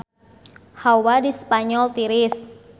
Hawa di Spanyol tiris